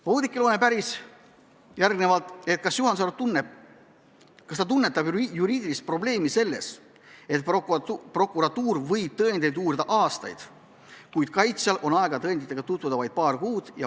Oudekki Loone päris veel, kas Juhan Sarv tunnetab juriidilist probleemi selles, et prokuratuur võib tõendeid uurida aastaid, kuid kaitsjal on aega tõenditega tutvuda vaid paar kuud.